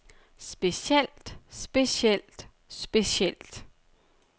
specielt specielt specielt